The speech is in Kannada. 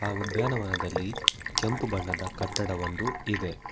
ಆ ಉದ್ಯಾನವನದಲ್ಲಿ ಕೆಂಪು ಬಣ್ಣದ ಕಟ್ಟಡವೊಂದು ಇದೆ.